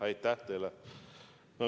Aitäh teile!